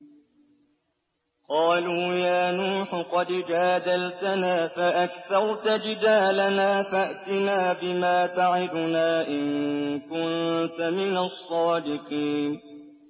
قَالُوا يَا نُوحُ قَدْ جَادَلْتَنَا فَأَكْثَرْتَ جِدَالَنَا فَأْتِنَا بِمَا تَعِدُنَا إِن كُنتَ مِنَ الصَّادِقِينَ